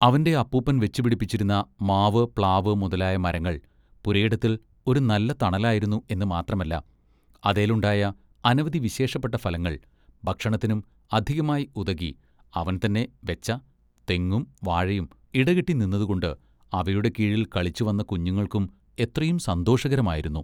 അവന്റെ അപ്പൂപ്പൻ വെച്ചു പിടിപ്പിച്ചിരുന്ന മാവ് പ്ലാവ് മുതലായ മരങ്ങൾ പുരയിടത്തിൽ ഒരു നല്ല തണലായിരുന്നു എന്നു മാത്രമല്ല അതെലുണ്ടായ അനവധി വിശേഷപ്പെട്ട ഫലങ്ങൾ ഭക്ഷണത്തിന്നും അധികമായി ഉതകി അവൻ തന്നെ വെച്ച തെങ്ങും വാഴയും ഇടകെട്ടി നിന്നതുകൊണ്ട് അവയുടെ കീഴിൽ കളിച്ചുവന്ന കുഞ്ഞുങ്ങൾക്കും എത്രയും സന്തോഷകരമായിരുന്നു.